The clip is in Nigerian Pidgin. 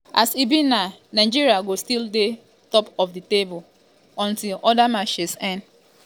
as e be now nigeria go still dey top of di table um until oda matches end. um